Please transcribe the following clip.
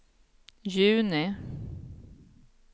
juni